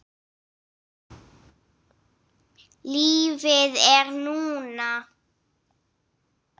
Lífið er núna